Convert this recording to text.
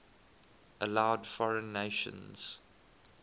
allowed foreign nations